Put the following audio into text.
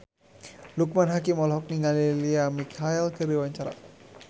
Loekman Hakim olohok ningali Lea Michele keur diwawancara